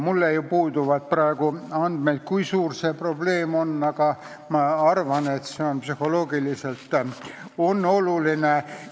Mul puuduvad praegu andmed, kui suur see probleem on, aga ma arvan, et see on psühholoogiliselt oluline.